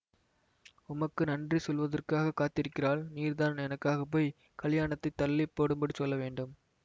உமக்கு நன்றி செலுத்துவதற்காகக் காத்திருக்கிறாள் நீர்தான் எனக்காகப் போய் கலியாணத்தைத் தள்ளி போடும்படி சொல்ல வேண்டும்